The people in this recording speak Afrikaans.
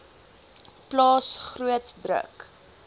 plaas groot druk